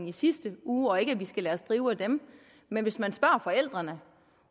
i sidste uge ikke at vi skal lade os drive af dem men hvis man spørger forældrene